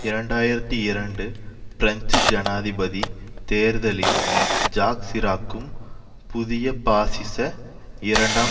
இரண்டு ஆயிரத்தி இரண்டு பிரெஞ்சு ஜனாதிபதி தேர்தலில் ஜாக் சிராக்கும் புதிய பாசிச இரண்டாம்